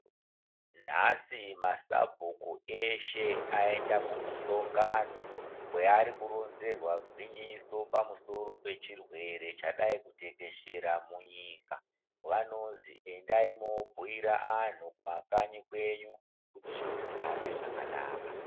Nhasi masabhuku eshe aenda kumusongano kweari koronzerwa gwinyiso pamusoro pechirwere chadai kutekeshera munyika vanozi endai mobhuira vantu kumakanyi kwenyu kuti zviro zvihambe zvakanaka.